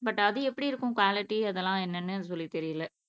but அது எப்படி இருக்கும் குவாலிட்டி அதெல்லாம் என்னனு சொல்லி தெரியல